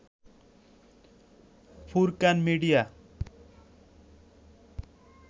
Furqan media